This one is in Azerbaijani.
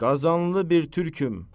Qazanlı bir türküm.